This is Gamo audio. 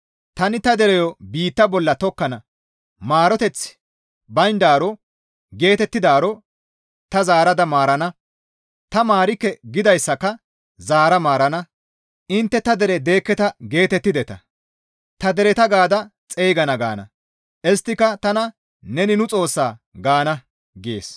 Tani ta dereyo biitta bolla tokkana. ‹Maaroteththi bayndaaro› geetettidaaro ta zaarada maarana; ‹Ta maarikke› gidayssaka zaara maarana; ‹Intte ta dere deekketa› geetettideta. ‹Ta dereta› gaada ta xeygana gaana; isttika tana, ‹Neni nu Xoossa› gaana» gees.